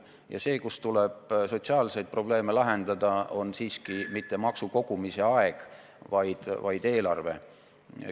Ja see, kus tuleb sotsiaalseid probleeme lahendada, on siiski mitte maksukogumise aeg, vaid eelarve.